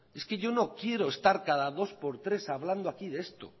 es que yo no quiero estar cada dos por tres hablando aquí de esto